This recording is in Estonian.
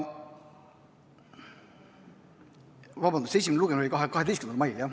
Vabandust, esimene lugemine oli 12. mail.